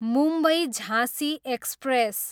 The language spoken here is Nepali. मुम्बई, झाँसी एक्सप्रेस